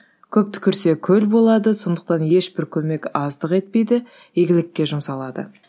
көп түкірсе көл болады сондықтан ешбір көмек аздық етпейді игілікке жұмсалады